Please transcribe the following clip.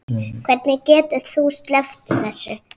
Hvernig getur þú sleppt þessu?